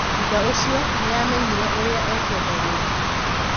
Thutha ũcio, nĩ aamenyire ũrĩa ekwenda gwĩka.